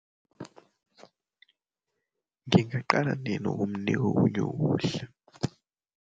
Ngingaqala nini ukumnika okunye ukudla?